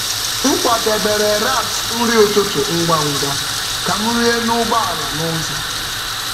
M kwadebere wraps nri ụtụtụ ngwa ngwa ka m rie n’ụgbọ ala n’ụzọ.